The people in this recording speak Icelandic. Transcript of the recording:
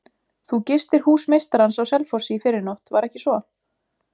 Þú gistir hús meistarans á Selfossi í fyrrinótt, var ekki svo?